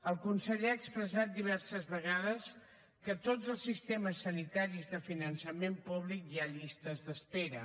el conseller ha expressat diverses vegades que a tots els sistemes sanitaris de finançament públic hi ha llistes d’espera